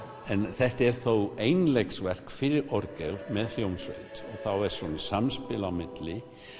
þetta er þó einleiksverk fyrir orgel með hljómsveit þá er samspil á milli